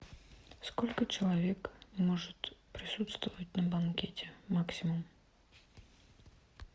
сколько человек может присутствовать на банкете максимум